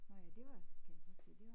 Nåh ja det var kan jeg godt se det var